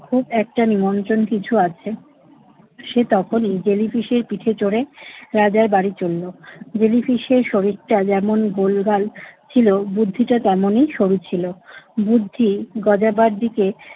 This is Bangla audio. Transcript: খুব একটা নিমন্ত্রণ কিছু আছে। সে তখনই জেলিফিশের পিঠে চড়ে রাজার বাড়ি চলল। জেলিফিশের শরীরটা যেমন গোলগাল ছিল বুদ্ধিটা তেমনি সরু ছিল। বুদ্ধি গজাবার দিকে